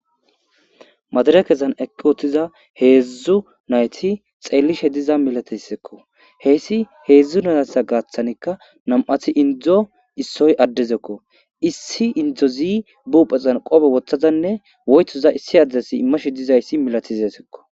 madare kezan ekki wottiza heedzdzu nayti xeellishe diza milatessekko heyssi heedzdzu nayasa gaaththanikka nam7athi indzdzo issoy addezekko issi indzo zi buphexan qope wothazanne woytoza issi addesi immashe dizayssi milatizesekko